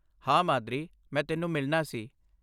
ਹਾਂ, ਮਾਦਰੀ, ਮੈਂ ਤੈਨੂੰ ਮਿਲਣਾ ਸੀ।